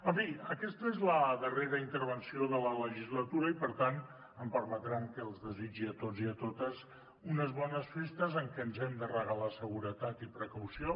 en fi aquesta és la darrera intervenció de la legislatura i per tant em permetran que els desitgi a tots i a totes unes bones festes en què ens hem de regalar seguretat i precaució